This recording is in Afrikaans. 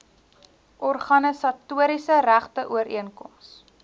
organisatoriese regte ooreenkoms